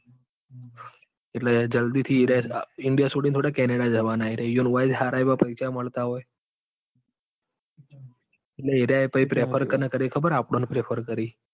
એટલે જલ્દી થી એરિયા ઇન્ડિયા સોડીન થોડા કેનેડા જવાના છોરિયા ઇઓને અહીંયા જ સારા એવા પૈસા મળતા હોય. એટલે એરિયા પહી prefer કાં કર ખબર આપડો ન prefer કર.